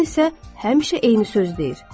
Cin isə həmişə eyni söz deyir.